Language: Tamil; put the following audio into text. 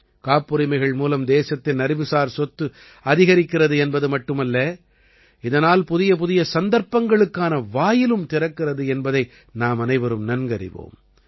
காப்புரிமைகள் மூலம் தேசத்தின் அறிவுசார் சொத்து அதிகரிக்கிறது என்பது மட்டுமல்ல இதனால் புதியபுதிய சந்தர்ப்பங்களுக்கான வாயிலும் திறக்கிறது என்பதை நாமனைவரும் நன்கறிவோம்